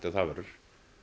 það verður